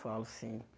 Falo sim.